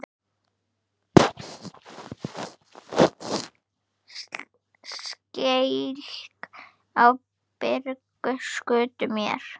Skelk í bringu skutu mér.